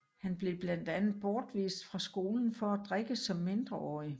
Han blev blandt andet bortvist fra skolen for at drikke som mindreårig